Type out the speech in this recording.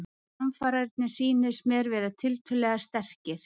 Framararnir sýnist mér vera tiltölulega sterkir.